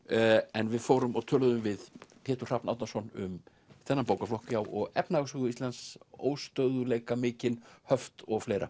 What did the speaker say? en við fórum og töluðum við Pétur Hrafn Árnason um þennan bókaflokk og efnahagssögu Íslands óstöðugleika mikinn höft og fleira